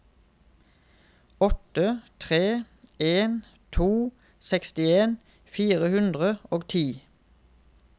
åtte tre en to sekstien fire hundre og ti